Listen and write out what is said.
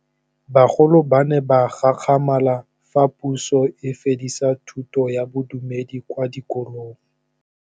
Bagolo ba ne ba gakgamala fa Pusô e fedisa thutô ya Bodumedi kwa dikolong.